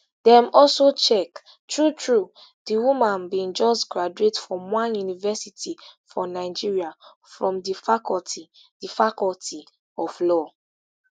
dem also check truetrue di woman bin just graduate from one university for nigeria from di faculty di faculty of law